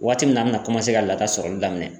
Waati min na a bɛna ka laka sɔrɔli daminɛ